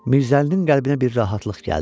Mirzəlinin qəlbinə bir rahatlıq gəldi.